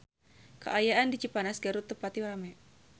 Kaayaan di Cipanas Garut teu pati rame